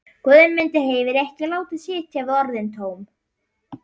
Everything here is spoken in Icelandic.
Guðmundur hafði ekki látið sitja við orðin tóm.